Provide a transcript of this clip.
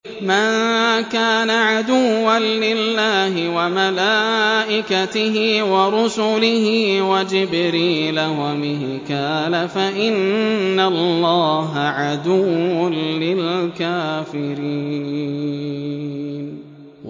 مَن كَانَ عَدُوًّا لِّلَّهِ وَمَلَائِكَتِهِ وَرُسُلِهِ وَجِبْرِيلَ وَمِيكَالَ فَإِنَّ اللَّهَ عَدُوٌّ لِّلْكَافِرِينَ